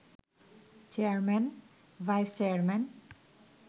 chairman, vice chairman